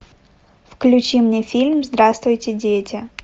включи мне фильм здравствуйте дети